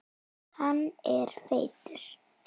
Hann er feitur.